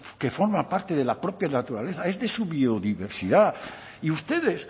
que forma parte de la propia naturaleza es de su biodiversidad y ustedes